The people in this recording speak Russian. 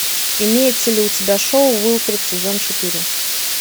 имеется ли у тебя шоу уилфред сезон четыре